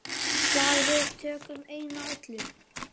Slag við tökum einatt öll.